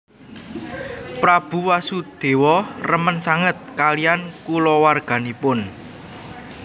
Prabu Wasudewa remen sanget kaliyan kulawarganipun